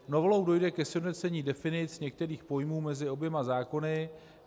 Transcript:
Novelou dojde ke sjednocení definic některých pojmů mezi oběma zákony.